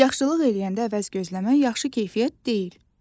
Yaxşılıq eləyəndə əvəz gözləmə, yaxşı keyfiyyət deyil.